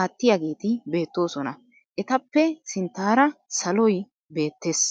aattiyageeti beettoosona. Etappe sinttaara saloy beettes.